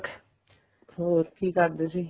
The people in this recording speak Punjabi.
ਹੋਰ ਕੀ ਕਰਦੇ ਸੀ